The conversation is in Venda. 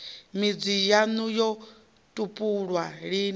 midzi yaṋu yo tupulwa lini